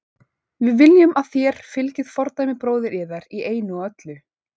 Við viljum að þér fylgið fordæmi bróður yðar í einu og öllu.